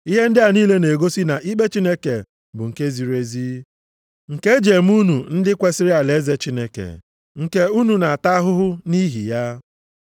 Ihe ndị a niile na-egosi na ikpe Chineke bụ nke ziri ezi, nke e ji eme unu ndị kwesiri alaeze Chineke, nke unu na-ata ahụhụ nʼihi ya.